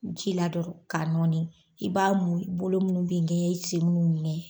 Ji la dɔrɔn k'a nɔɔni i b'a mun bolo munnu b'i ŋɛɲɛ i sen munnu b'i ŋɛɲɛ.